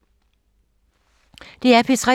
DR P3